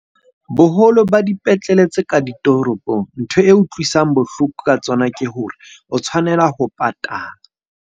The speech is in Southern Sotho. Boholo ba dipetlele tse ka ditoropong, ntho e utlwisang bohloko ka tsona ke hore o tshwanela ho patala.